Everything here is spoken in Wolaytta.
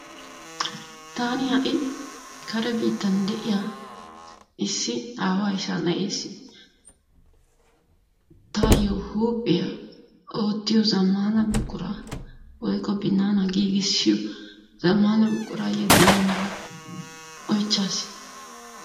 taani ha'i kare biittan de'iya issi aawaa ishaa na'eessi taayu huuphiya oottiyo zamaana buquraa woyko binanaa giigissiyo zamaana buquraa yedana mala oychchaasi